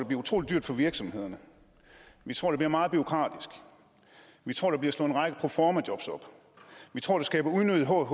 bliver utrolig dyrt for virksomhederne vi tror det bliver meget bureaukratisk vi tror der bliver slået en række proformajobs op vi tror det skaber unødigt håb